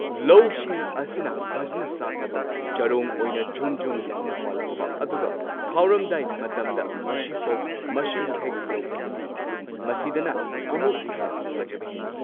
ꯂꯧꯁꯤꯡ ꯑꯁꯤꯅ ꯐꯖꯅ ꯁꯥꯠꯂꯕ ꯆꯔꯣꯡ ꯑꯣꯏꯅ ꯖꯨꯝ ꯖꯨꯝ ꯂꯥꯎꯅ ꯄꯥꯜꯂꯛꯄ ꯑꯗꯨꯒ ꯈꯥꯎꯔꯝꯗꯥꯏ ꯃꯇꯝꯗ ꯃꯁꯤꯐꯧ ꯃꯁꯤꯕꯨ ꯍꯦꯛ ꯌꯧꯈ꯭ꯔꯕꯗꯤ ꯃꯁꯤꯗꯅ ꯑꯃꯨꯛ ꯍꯦꯟꯅ ꯐꯖꯕ ꯍꯦꯜꯂꯤ꯫